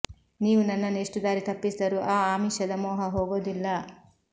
ನೀವು ನನ್ನನ್ನು ಎಷ್ಟು ದಾರಿ ತಪ್ಪಿಸಿದರೂ ಆ ಆಮಿಷದ ಮೋಹ ಹೋಗೋದಿಲ್ಲ